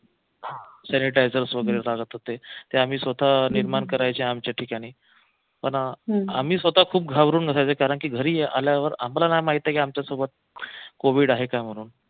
sanitizers वगैरे चालत होते ते आम्ही स्वतः निर्माण करायचे आमच्या ठिकाणी पण आम्ही स्वतः खूप घाबरून असायचे कारंकी घरी आल्यावर आम्हाला नाही माहित की आमच्या सोबत covid आहे का म्हणून